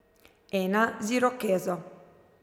Ena z irokezo.